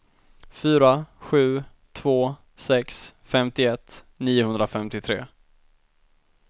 fyra sju två sex femtioett niohundrafemtiotre